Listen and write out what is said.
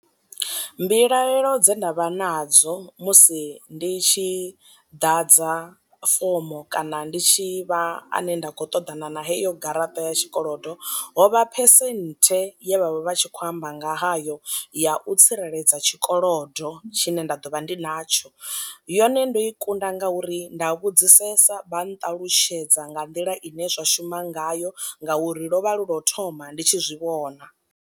Mbilaelo dze ndavha nadzo musi ndi tshi ḓadza fomo kana ndi tshi vha ane nda khou ṱoḓana na heyo garaṱa ya tshikolodo, ho vha phesenthe ye vhavha vha tshi khou amba nga hayo ya u tsireledza tshikolodo tshine nda ḓo vha ndi natsho, yone ndo i kunda ngauri nda vhudzisesa vha nṱalutshedza nga nḓila ine zwa shuma ngayo ngauri lwo vha lu lwa u thoma ndi tshi zwi vhona.